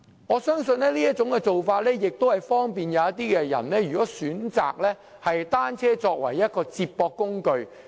我相信這種做法可利便那些選擇以單車作為接駁工具的人。